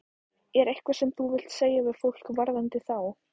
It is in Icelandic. Er eitthvað sem þú vilt segja við fólk varðandi þá?